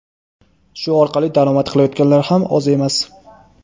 Shu orqali daromad qilayotganlar ham oz emas.